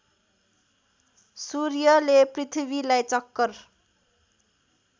सूर्यले पृथ्वीलाई चक्कर